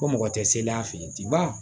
Ko mɔgɔ tɛ se an fɛ yen tenba